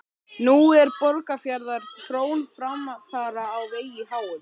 Nú er Borgarfjarðar frón framfara á vegi háum.